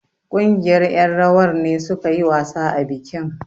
Ƙungiyar ƴan rawar ne suka yi wasa a bikin.